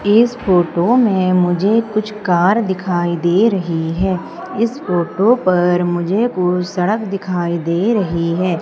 इस फोटो में मुझे कुछ कार दिखाई दे रही है इस फोटो पर मुझे कुछ सड़क दिखाई दे रही है।